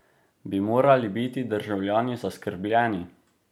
Bi morali biti državljani zaskrbljeni?